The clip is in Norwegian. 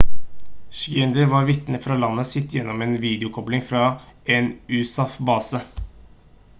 schneider var vitne fra landet sitt gjennom en videokobling fra en usaf-base